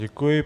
Děkuji.